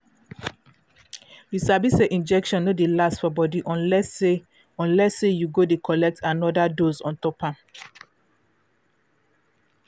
you sabi say injection no dey last for body unless say unless say you go dey collect anoda dose ontop am